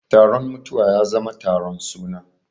Taron mutuwa ya zama taron suna.